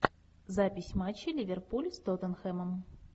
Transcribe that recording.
запись матча ливерпуль с тоттенхэмом